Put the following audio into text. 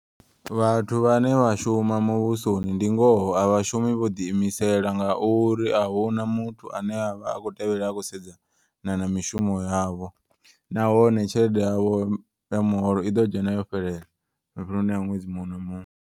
Vhathu vhane vha shuma muvhusoni ndi ngoho a vhashumi vho ḓi imisela. Ngauri ahuna muthu ane avha akho tevhelela akho sedza na na mishumo yavho. Nahone tshelede yavho ya muholo iḓo dzhena yo fhelela mafheleloni a ṅwedzi muṅwe na muṅwe.